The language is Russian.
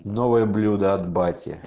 новые блюда от бати